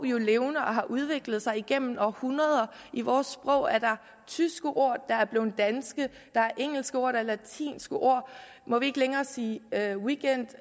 jo er levende og har udviklet sig igennem århundrede i vores sprog er der tyske ord der er blevet danske der er engelske ord og latinske ord må vi ikke længere sige weekend